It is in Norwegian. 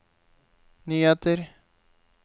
nyheter